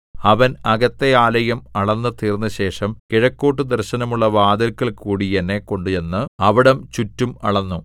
അവൻ അകത്തെ ആലയം അളന്നു തീർന്നശേഷം കിഴക്കോട്ടു ദർശനമുള്ള വാതില്ക്കൽകൂടി എന്നെ കൊണ്ട് ചെന്ന് അവിടം ചുറ്റും അളന്നു